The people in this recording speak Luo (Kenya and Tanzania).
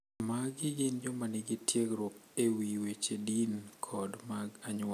Magi gin joma nigi tiegruok e wi weche din kod mag anyuola.